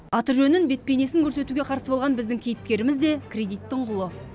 аты жөнін бет бейнесін көрсетуге қарсы болған біздің кейіпкеріміз де кредиттің құлы